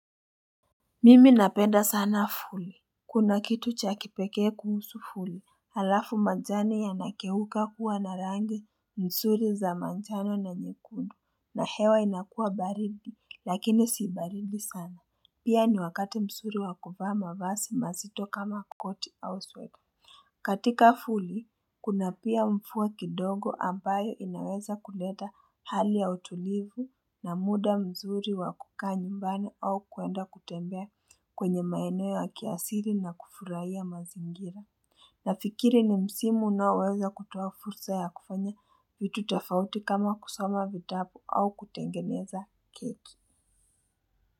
Mimi napenda sana fuli Kuna kitu cha kipekee kuhusu fuli Halafu majani yanageuka kuwa na rangi msuri za manjano na nyekundu na hewa inakua baridi lakini si baridi sana Pia ni wakati msuri wakubama vasi mazito kama koti au sweta katika fuli Kuna pia mfua kidongo ambaye inaweza kuleta hali ya utulivu na muda msuri wakukaa nyumbani au kuenda kutembea kwenye maeneo ya kiasili na kufurahia mazingira Nafikiri ni msimu unaweweza kutoa fursa ya kufanya vitu tofauti kama kusoma vitabu au kutengeneza keki.